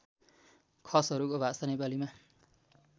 खसहरूको भाषा नेपालीमा